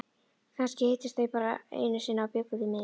Kannski hittust þau bara einu sinni og bjuggu mig til.